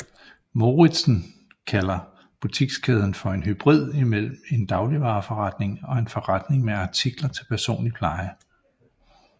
Mouritsen kalder butikskæden for en hybrid mellem en dagligvareforretning og en forretning med artikler til personlig pleje